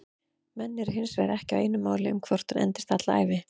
Menn eru hinsvegar ekki á einu máli um hvort hún endist alla ævi.